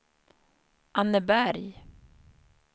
Anneberg